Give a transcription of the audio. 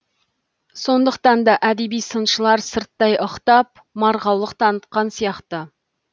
сондықтан да әдеби сыншылар сырттай ықтап марғаулық танытқан сияқты